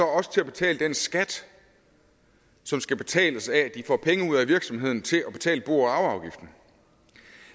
også til at betale den skat som skal betales af at de får penge ud af virksomheden til at betale bo og arveafgiften